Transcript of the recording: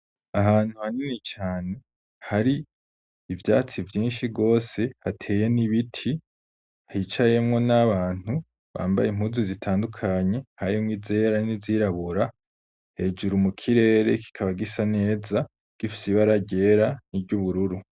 Ahantu hanini cane, hari ivyatsi vyinshi rwose, hateye n'ibiti, hicayemwo n'abantu bambaye impuzu zitandukanye, harimwo izera n'izirabura; hejuru mu kirere, kikaba gisa neza, gifise ibara ryera n'iry'ubururu.